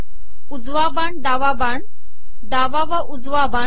उजवा बाण डावा बाण डावा व उजवा बाण